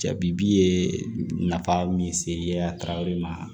Jabi bi ye nafa min se ye taw de ma